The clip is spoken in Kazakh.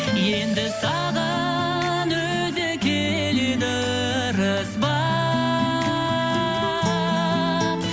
енді саған өзі келеді ырыс бақ